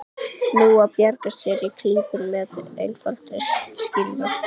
Nú á að bjarga sér úr klípunni með einfaldri skýringu.